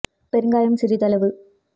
பெருங்காயம் சிறிதளவு